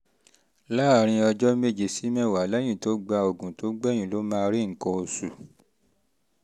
láàárín ọjọ́ méje sí mẹ́wàá lẹ́yìn tó gba òògùn tó gbẹ̀yìn ló máa rí nǹkan oṣù